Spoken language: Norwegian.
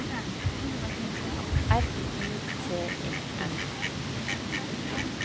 R U T E N